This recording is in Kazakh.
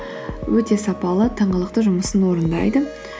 өте сапалы тыңғылықты жұмысын орындайды